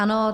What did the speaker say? Ano.